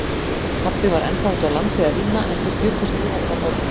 Pabbi var ennþá úti á landi að vinna en þau bjuggust við honum á morgun.